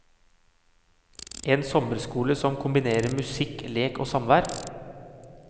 En sommerskole som kombinerer musikk, lek og samvær.